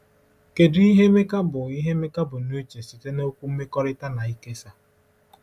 Kedu ihe Emeka bu ihe Emeka bu n’uche site na okwu “mmekorita” na “ikesa”?